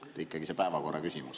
Ikkagi see päevakorraküsimus.